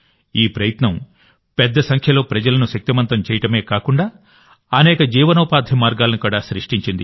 ఈ ప్రయత్నం పెద్ద సంఖ్యలో ప్రజలను శక్తిమంతం చేయడమే కాకుండాఅనేక జీవనోపాధి మార్గాలను కూడా సృష్టించింది